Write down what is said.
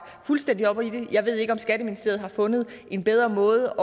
fuldstændig op om det jeg ved ikke om skatteministeriet har fundet en bedre måde